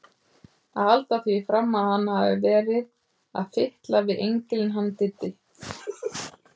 Að halda því fram að hann hafi verið að fitla við engilinn hann Diddi!